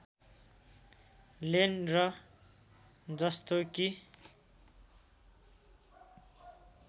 lane र जस्तो कि